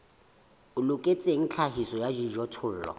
o loketseng tlhahiso ya dijothollo